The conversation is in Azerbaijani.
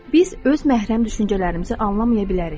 Biz öz məhrəm düşüncələrimizi anlamaya bilərik.